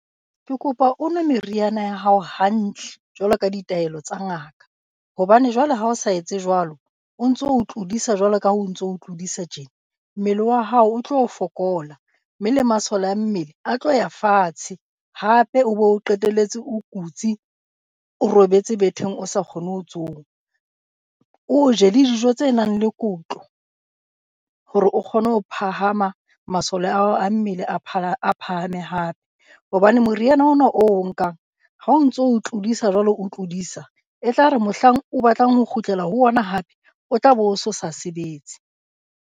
Ke kopa o nwe meriana ya hao hantle jwalo ka ditaelo tsa ngata, hobane jwale ha o sa etse jwalo, o ntso o tlodisa jwalo ka ha o ntso tlodisa tje. Mmele wa hao o tlo fokola mme le masole a mmele a tlo ya fatshe. Hape o be o qetelletse o kutse o robetse betheng o sa kgone ho tsoha. O je dijo tse nang le kotlo hore o kgone ho phahama masole a hao a mmele a a phahame hape, hobane moriana ona oo o nkang ha o ntso tlodisa jwalo o tlodisa e tla re mohlang o batlang ho kgutlela ho ona hape o tla be o sa sebetse.